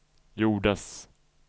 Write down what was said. gjordes